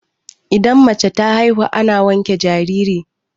idan mace ta haihu ana wanke jariri